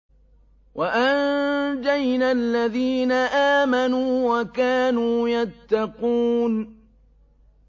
وَأَنجَيْنَا الَّذِينَ آمَنُوا وَكَانُوا يَتَّقُونَ